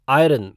iron